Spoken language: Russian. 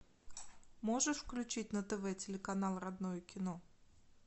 можешь включить на тв телеканал родное кино